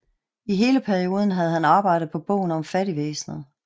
I hele perioden havde han arbejdet på bogen om fattigvæsenet